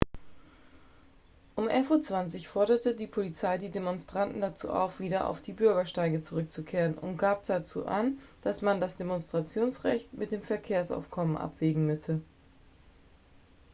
um 11:20 uhr forderte die polizei die demonstranten dazu auf wieder auf die bürgersteige zurückzukehren und gab dazu an dass man das demonstrationsrecht mit dem verkehrsaufkommen abwägen müsse